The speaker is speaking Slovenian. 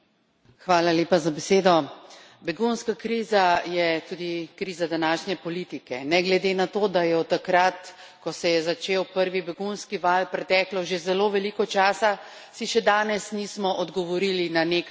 Begunska kriza je tudi kriza današnje politike, ne glede na to, da je od takrat, ko se je začel prvi begunski val, preteklo že zelo veliko časa, si še danes nismo odgovorili na nekaj osnovnih vprašanj.